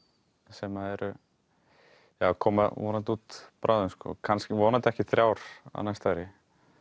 sem koma vonandi út bráðum kannski vonandi ekki þrjár á næsta ári